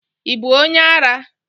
Ị bụ onye ara?